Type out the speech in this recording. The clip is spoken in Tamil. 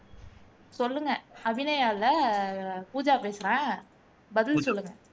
சொல்லுங்க அபிநயா இல்ல பூஜா பேசுறேன் பதில் சொல்லுங்க